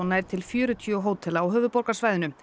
náði til fjörutíu hótela á höfuðborgarsvæðinu